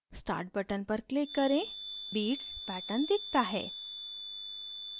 start button पर click करें beats pattern दिखता है